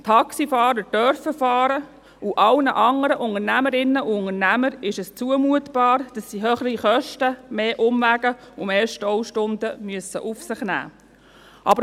Die Taxifahrer dürfen fahren, und für alle anderen Unternehmerinnen und Unternehmer ist es zumutbar, dass sie höhere Kosten, mehr Umwege und mehr Staustunden auf sich nehmen müssen.